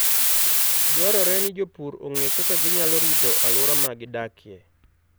Dwarore ni jopur ong'e kaka ginyalo rito alwora ma gidakie.